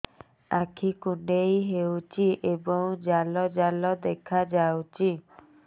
ଆଖି କୁଣ୍ଡେଇ ହେଉଛି ଏବଂ ଜାଲ ଜାଲ ଦେଖାଯାଉଛି